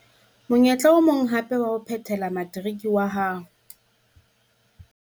Monyetla o mong hape wa ho phethela materiki wa hao